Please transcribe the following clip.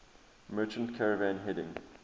merchant caravan heading